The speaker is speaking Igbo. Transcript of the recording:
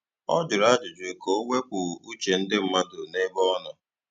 O jụrụ ajụjụ ka o wepụ uche ndị mmadụ n'ebe ọ nọ